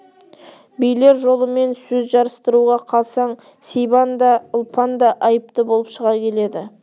билер жолымен сөз жарыстыруға қалсаң сибан да ұлпан да айыпты болып шыға келеді